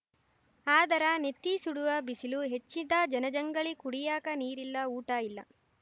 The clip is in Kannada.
ಆದರ ನೆತ್ತಿ ಸುಡುವ ಬಿಸಿಲು ಹೆಚ್ಚಿದ ಜನಜಂಗಳಿ ಕುಡಿಯಾಕ ನೀರಿಲ್ಲ ಊಟ ಇಲ್ಲ